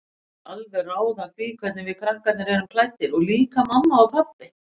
Hún vill alveg ráða því hvernig við krakkarnir erum klæddir, og líka mamma og pabbi.